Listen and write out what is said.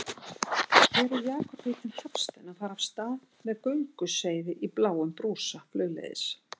Hér er Jakob heitinn Hafstein að fara af stað með gönguseiði í bláum brúsa flugleiðis.